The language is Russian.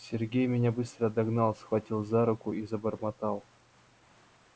сергей меня быстро догнал схватил за руку и забормотал